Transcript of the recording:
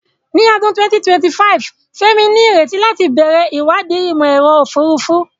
Ní ọdún 2025, Femi ní ìrètí láti bẹ̀rẹ̀ ìwádìí Ìmọ̀-ẹ̀rọ Òfurufú.